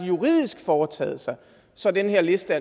juridisk foretaget sig så den her liste